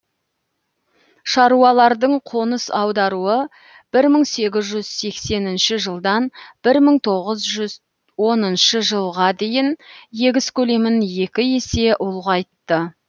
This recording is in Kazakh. шаруалардың қоныс аударуы бір мың сегіз жүз сексенінші жылдан бір мың тоғыз жүз оныншы жылға дейін егіс көлемін екі есе ұлғайтты